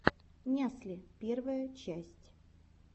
нясли первая часть